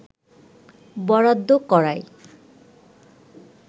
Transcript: বরাদ্দ করায়